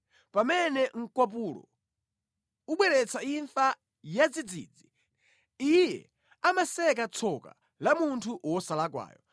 Pamene mkwapulo ubweretsa imfa yadzidzidzi, Iye amaseka tsoka la munthu wosalakwayo.